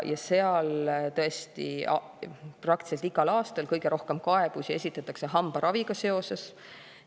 Ja seal tõesti praktiliselt igal aastal kõige rohkem kaebusi esitatakse hambaraviga seoses.